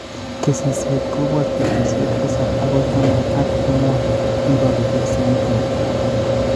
Kesisyet kobooch peetuusyek tisap agoi taman ak ang'wan, ibolu piasinik mutyo.